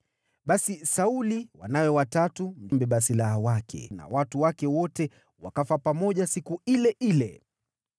Basi Sauli, wanawe watatu, mbeba silaha wake na watu wake wote wakafa pamoja siku ile ile.